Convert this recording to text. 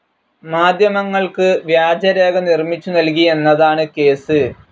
മാധ്യമങ്ങൾക്ക് വ്യാജരേഖ നിർമ്മിച്ചു നൽകി എന്നതാണ് കേസ്.